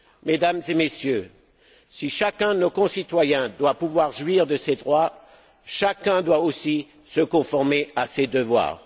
Mesdames et Messieurs, si chacun de nos concitoyens doit pouvoir jouir de ses droits, chacun doit aussi se conformer à ses devoirs.